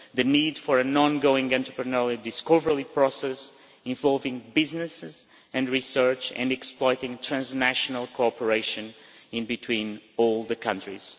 The need for an ongoing entrepreneurial discovery process involving businesses and research and exploiting transnational cooperation between all the countries.